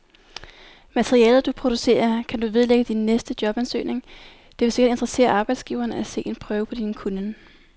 Materialet, du producerer, kan du vedlægge din næste jobansøgning, det vil sikkert interessere arbejdsgiveren at se en prøve på din kunnen.